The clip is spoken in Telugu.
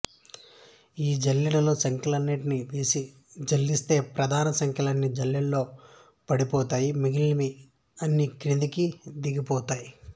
ఈ జల్లెడలో సంఖ్యలన్నిటిని వేసి జల్లిస్తే ప్రధాన సంఖ్యలన్నీ జల్లెడలో ఉండిపోతాయి మిగిలినవి అన్నీ కిందకి దిగిపోతాయి